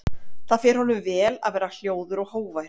Það fer honum vel að vera hljóður og hógvær.